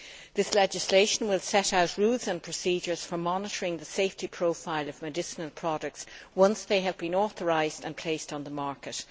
This legislation will set out rules and procedures for monitoring the safety profile of medicinal products once they have been authorised and placed on the market.